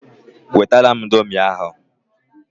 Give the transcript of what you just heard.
Wetara m indomie ahụ!